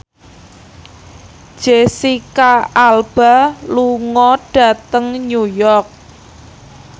Jesicca Alba lunga dhateng New York